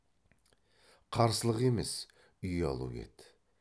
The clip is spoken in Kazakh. қарсылық емес ұялу еді